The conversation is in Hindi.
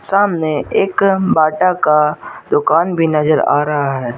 सामने एक बाटा का दुकान भी नजर आ रहा है।